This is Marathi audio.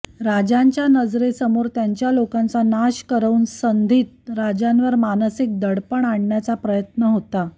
राजांच्या नजरेसमोर त्यांच्या लोकांचा नाश करवून संधीत राजांवर मानसिक दडपण आणण्याचा प्रयत्न होता